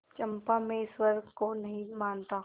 चंपा मैं ईश्वर को नहीं मानता